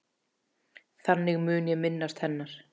Þannig mun ég minnast hennar.